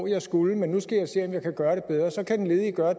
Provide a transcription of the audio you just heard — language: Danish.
jeg skulle men nu skal jeg se om jeg kan gøre